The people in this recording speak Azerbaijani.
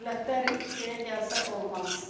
Dövlətlər şeyə gəlsə olmaz.